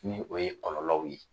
Ni o ye kɔlɔlɔw ye